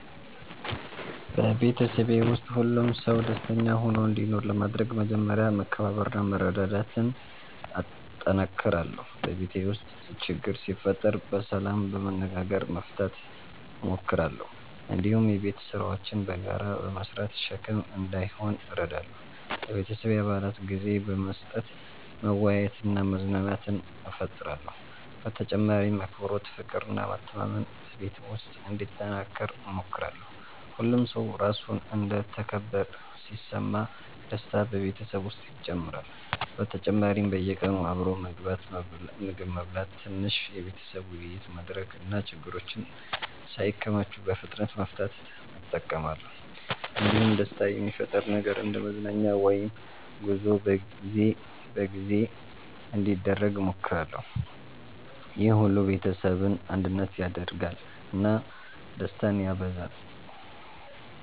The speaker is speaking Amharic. በቤተሰቤ ውስጥ ሁሉም ሰው ደስተኛ ሆኖ እንዲኖር ለማድረግ መጀመሪያ መከባበርና መረዳዳት እጠነክራለሁ። በቤት ውስጥ ችግር ሲፈጠር በሰላም በመነጋገር መፍታት እሞክራለሁ። እንዲሁም የቤት ስራዎችን በጋራ በመስራት ሸክም እንዳይሆን እረዳለሁ። ለቤተሰቤ አባላት ጊዜ በመስጠት መወያየትና መዝናናት እፈጥራለሁ። በተጨማሪም አክብሮት፣ ፍቅር እና መተማመን በቤት ውስጥ እንዲጠናከር እሞክራለሁ። ሁሉም ሰው ራሱን እንደ ተከበረ ሲሰማ ደስታ በቤተሰብ ውስጥ ይጨምራል። በተጨማሪም በየቀኑ አብሮ ምግብ መብላት፣ ትንሽ የቤተሰብ ውይይት ማድረግ እና ችግሮችን ሳይከማቹ በፍጥነት መፍታት እጠቀማለሁ። እንዲሁም ደስታ የሚፈጥር ነገር እንደ መዝናኛ ወይም ጉዞ በጊዜ በጊዜ እንዲደረግ እሞክራለሁ። ይህ ሁሉ ቤተሰቡን አንድነት ያደርጋል እና ደስታን ያበዛል።